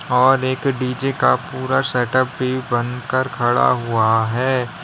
और एक डी_जे का पूरा सेटअप भी बनकर खड़ा हुआ है।